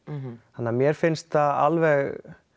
þannig að mér finnst það alveg